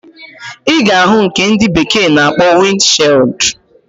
Iga ahu nke ndi bekee na akpo wind shield.